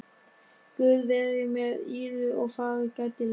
Guð veri með yður og farið gætilega.